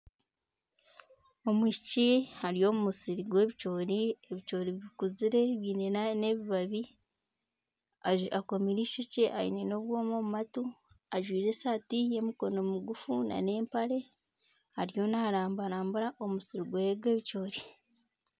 Omwishiki ari omu musiri gw'ebicoori, ebicoori bikuzire biine n'ebibabi. Akomire eishokye aine n'obwoma omu matu. Ajwaire esaati y'emikono migufu n'empare. Ariyo narambarambura omusiri gwe gw'ebicoori.